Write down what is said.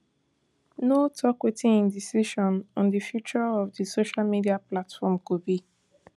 no tok wetin im decision on di future of di social media platform go be